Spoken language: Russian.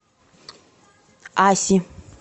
аси